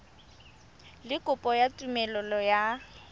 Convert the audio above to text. le kopo ya tumelelo ya